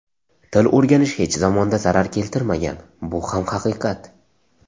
Til o‘rganish hech zamonda zarar keltirmagan, bu ham haqiqat.